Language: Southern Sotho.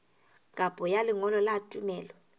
kopo ya lengolo la tumello